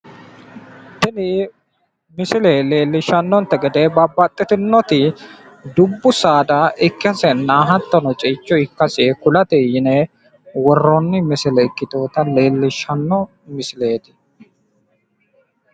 Tini misile leellishshannonte gede babbaxxitinoti dubbu saada ikkasenna hattono ceicho ikkase kulate yine worroonni misileeti.